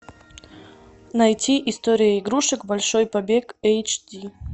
найти история игрушек большой побег эйч ди